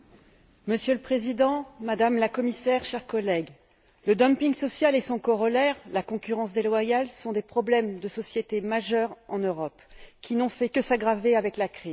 Monsieur le Président, Madame la Commissaire, chers collègues, le dumping social et son corollaire, la concurrence déloyale, constituent des problèmes de société majeurs en Europe, qui n'ont fait que s'aggraver avec la crise.